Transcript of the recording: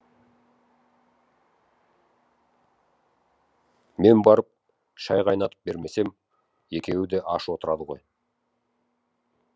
мен барып шай қайнатып бермесем екеуі де аш отырады ғой